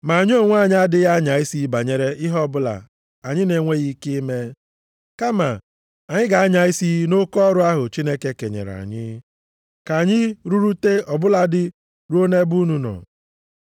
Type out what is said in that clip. Ma anyị onwe anyị, adịghị anya isi banyere ihe ọbụla anyị na-enweghị ike ime. Kama anyị ga-anya isi nʼoke ọrụ ahụ Chineke kenyere anyị, ka anyị rụrụte ọ bụladị ruo nʼebe unu nọ.